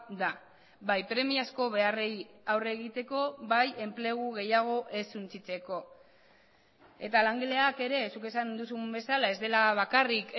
da bai premiazko beharrei aurre egiteko bai enplegu gehiago ez suntsitzeko eta langileak ere zuk esan duzun bezala ez dela bakarrik